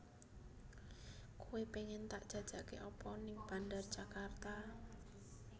Koe pengen tak jajake apa ning Bandar Djakarta?